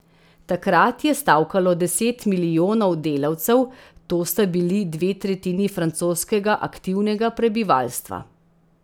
Takrat je stavkalo deset milijonov delavcev, to sta bili dve tretjini francoskega aktivnega prebivalstva.